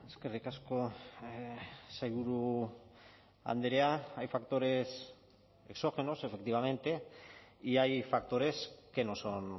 eskerrik asko sailburu andrea hay factores exógenos efectivamente y hay factores que no son